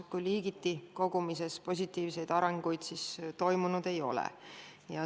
Ka liigiti kogumises positiivseid arenguid toimunud ei ole.